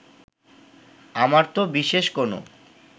আমার তো বিশেষ কোনো